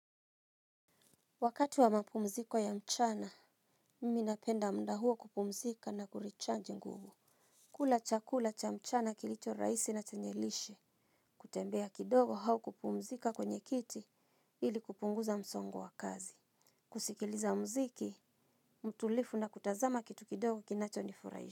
Wakati wa mapumziko ya mchana, mimi napenda muda huo kupumzika na kurichanji nguvu. Kula chakula cha mchana kilicho rahisi na chenye lishe, kutembea kidogo au kupumzika kwenye kiti ili kupunguza msongo wa kazi. Kusikiliza muziki, mtulivu na kutazama kitu kidogo kinacho nifurahisha.